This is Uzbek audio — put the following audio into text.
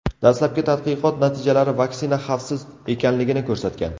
Dastlabki tadqiqot natijalari vaksina xavfsiz ekanligini ko‘rsatgan .